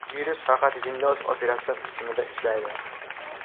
Virus faqat Windows operatsion tizimida ishlaydi.